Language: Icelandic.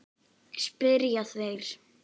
spyrja þeir.